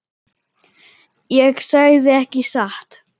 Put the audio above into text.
Ég sagði ekki satt.